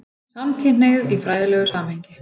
SAMKYNHNEIGÐ Í FRÆÐILEGU SAMHENGI